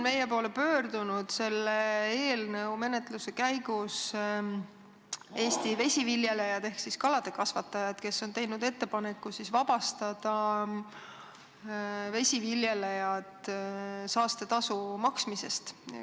Meie poole on selle eelnõu menetluse käigus pöördunud ka Eesti vesiviljelejad ehk kalakasvatajad, kes on teinud ettepaneku vabastada vesiviljelejad saastetasu maksmisest.